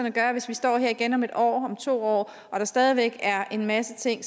at gøre hvis vi står her igen om en år om to år og der stadig væk er en masse ting